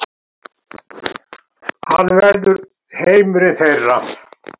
Hann verður heimurinn þeirra.